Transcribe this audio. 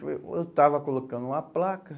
Eu estava colocando uma placa.